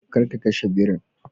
Kar ka kashe birin!